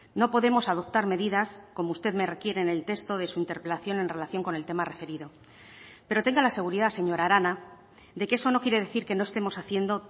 no podemos adoptar medidas como usted me requiere en el texto de su interpelación en relación con el tema referido pero tenga la seguridad señora arana de que eso no quiere decir que no estemos haciendo